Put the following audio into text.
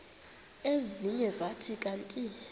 ezinye zathi kanti